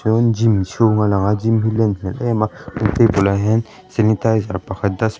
rawn gym chhûng a lang a gym hi len hmêl êm a table ah hian senitaizer pakhat das--